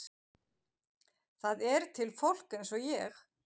Það er til fólk eins og ég.